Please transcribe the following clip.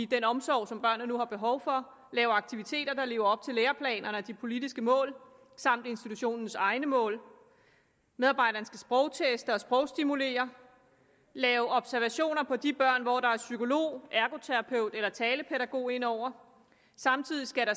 den omsorg som børnene nu har behov for lave aktiviteter der lever op til læreplanerne og de politiske mål samt institutionens egne mål medarbejderen skal sprogteste og sprogstimulere lave observationer på de børn hvor der er en psykolog ergoterapeut eller talepædagog ind over samtidig skal